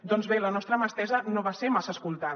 doncs bé la nostra mà estesa no va ser massa escoltada